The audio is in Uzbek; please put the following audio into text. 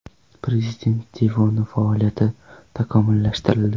Prezident devoni faoliyati takomillashtirildi .